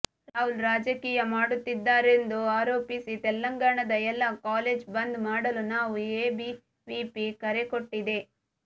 ರಾಹುಲ್ ರಾಜಕೀಯ ಮಾಡುತ್ತಿದ್ದಾರೆಂದು ಆರೋಪಿಸಿ ತೆಲಂಗಾಣದ ಎಲ್ಲಾ ಕಾಲೇಜ್ ಬಂದ್ ಮಾಡಲು ನಾವು ಎಬಿವಿಪಿ ಕರೆಕೊಟ್ಟಿದೆ